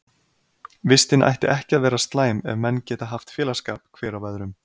Vistin ætti ekki að vera slæm ef menn geta haft félagsskap hver af öðrum.